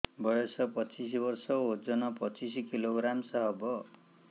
ବୟସ ପଚିଶ ବର୍ଷ ଓଜନ ପଚିଶ କିଲୋଗ୍ରାମସ ହବ